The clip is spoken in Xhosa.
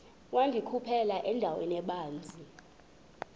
wandikhuphela endaweni ebanzi